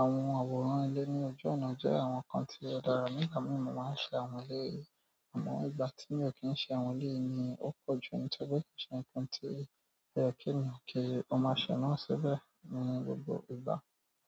Àwọn àwòrán ilé ní ojú ọ̀nà jẹ́ àwọn nǹkan tí ó dára nígbà mìí mo máa ṣe àwọn lé è. Àmọ́ ìgbà tí mi ò kín ṣe àwọn lé è ni ó pọ̀ jù nítorí kìí ṣe nǹkan tí o ye ki èèyàn kí o máa ṣe náà ṣibẹ̀ ní gbogbo ìgbà.